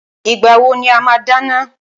Ìgbà wo ni a máa dáná?